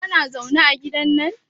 Kana zaune ne a gidan nan?